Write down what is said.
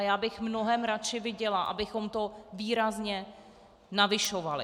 A já bych mnohem radši viděla, abychom to výrazně navyšovali.